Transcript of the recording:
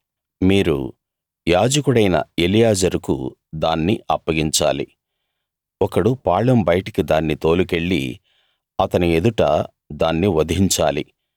మీరు యాజకుడైన ఎలియాజరుకు దాన్ని అప్పగించాలి ఒకడు పాళెం బయటికి దాన్ని తోలుకెళ్ళి అతని ఎదుట దాన్ని వధించాలి